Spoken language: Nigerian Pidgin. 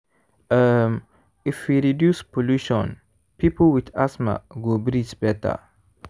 um if we reduce pollution people with asthma go breathe better.